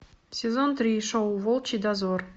сезон три шоу волчий дозор